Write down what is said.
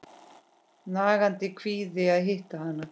Nagandi kvíði að hitta hana.